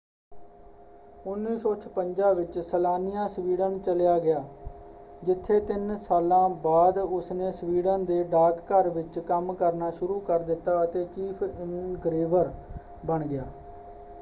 1956 ਵਿੱਚ Slania Sweden ਚਲਿਆ ਗਿਆ ਜਿੱਥੇ ਤਿੰਨ ਸਾਲਾਂ ਬਾਅਦ ਉਸਨੇ ਸਵੀਡਨ ਦੇ ਡਾਕ ਘਰ ਵਿੱਚ ਕੰਮ ਕਰਨਾ ਸ਼ੁਰੂ ਕਰ ਦਿੱਤਾ ਅਤੇ ਚੀਫ਼ ਇਨਗ੍ਰੇਵਰ ਬਣ ਗਿਆ।